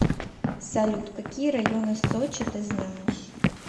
салют какие районы сочи ты знаешь